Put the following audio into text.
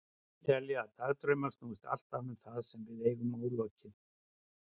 Sumir telja að dagdraumar snúist alltaf um það sem við eigum ólokið.